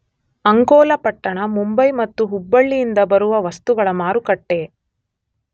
ಅಂಕೋಲಪಟ್ಟಣ ಮುಂಬಯಿ ಮತ್ತು ಹುಬ್ಬಳಿಲ್ಲಿಯಿಂದ ಬರುವ ವಸ್ತುಗಳ ಮಾರುಕಟ್ಟೆ.